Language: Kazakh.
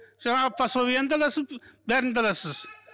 жаңағы пособиені де аласың бәрін де аласыз